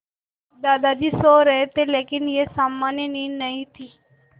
दादाजी सो रहे थे लेकिन यह सामान्य नींद नहीं थी